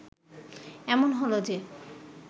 এমন হল যে